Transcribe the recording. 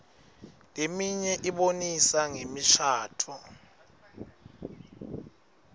leminye ibonisa ngemishadvo